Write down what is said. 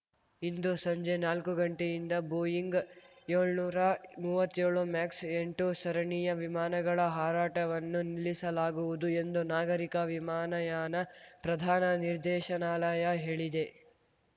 ಇಂದು ಸಂಜೆ ನಾಲ್ಕು ಗಂಟೆಯಿಂದ ಬೋಯಿಂಗ್ ಯೋಳ್ನೂರಾ ಮೂವತ್ತೇಳು ಮ್ಯಾಕ್ಸ್ ಎಂಟು ಸರಣಿಯ ವಿಮಾನಗಳ ಹಾರಾಟವನ್ನು ನಿಲ್ಲಿಸಲಾಗುವುದು ಎಂದು ನಾಗರಿಕ ವಿಮಾನಯಾನ ಪ್ರಧಾನ ನಿರ್ದೇಶನಾಲಯ ಹೇಳಿದೆ